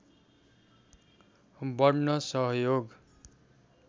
बढ्न सहयोग